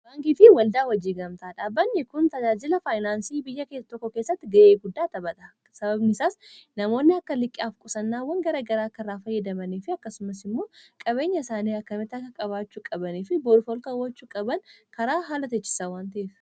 abaangitii waldaa wajjiin gamtaa dhaabbanyi kun tajaajila faayinaansii biyya keessa tokko keessatti ga'ee guddaa tabada sababnisaas namoonni akka liqqiaaf qusannaawwan gara garaa karaa fayyadamanii fi akkasumas immoo qabeenya isaanii akkameti akka qabaachuu qabanii fi borfolkaawwachuu qaban karaa haala techisawwantiif